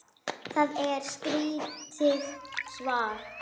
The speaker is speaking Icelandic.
Það er skrítið svar.